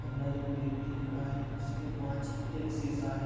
अंदर एक व्यक्ति खड़ा हे उसके पांच एक शीशा हे।